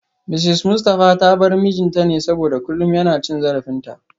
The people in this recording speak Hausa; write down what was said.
Mrs Mustafa ta bar mijinta ne saboda kullum yana cin zarafinta